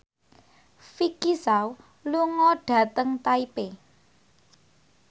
Vicki Zao lunga dhateng Taipei